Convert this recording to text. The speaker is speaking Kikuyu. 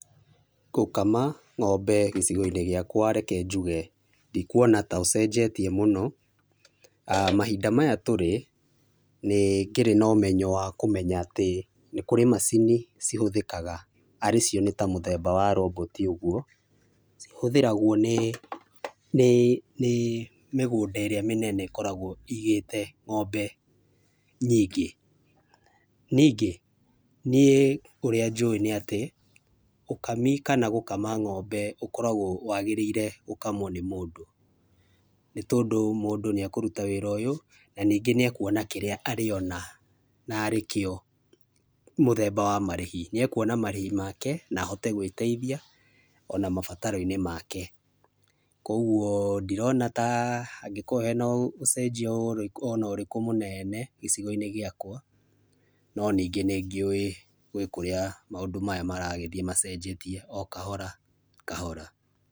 Gũkama ng'ombe gĩcigo-inĩ gĩakwa, reke njuge ndikwona ta ũcenjetie mũno, mahinda maya tũrĩ nĩ ngĩrĩ na ũmenyo wa kũmenya atĩ nĩ kũrĩ macini cihũthĩkaga arĩ cio nĩ ta mũthemba wa roboti ũguo, cihũthĩragwo nĩ, nĩ, nĩ mĩgũnda ĩrĩa mĩnene ĩkoragwo igĩte ng'ombe nyingĩ, ningĩ ũrĩa njũĩ nĩatĩ ũkami kana gũkama ng'ombe ũkoragwo wagĩrĩire gũkamwo nĩ mũndũ, nĩ tondũ mũndũ nĩ akũruta wĩra ũyũ na ningĩ nĩ ekwona kĩrĩa arĩ ona na rĩkĩo mũthemba wa marĩhi, nĩ ekwona marĩhi make na ahote gwĩteithia ona mabataro-inĩ make, kwoguo ndirona ta hangĩkorwo hena ũcenjio ona ũrĩkũ mũmene gĩcigo-inĩ gĩakwa no ningĩ nĩ ngĩũĩ, gwĩ kũrĩa maũndũ maya maragĩthiĩ macenjetie o kahora kahora.